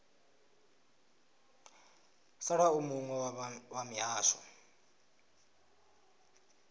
sala u muwe wa mihasho